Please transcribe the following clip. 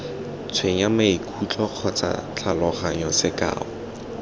tshwenya maikutlo kgotsa tlhaloganyo sekao